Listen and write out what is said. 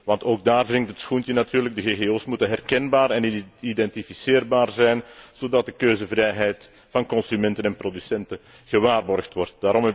Want ook daar wringt het schoentje natuurlijk de ggo's moeten herkenbaar en identificeerbaar zijn, zodat de keuzevrijheid van consumenten en producenten gewaarborgd wordt.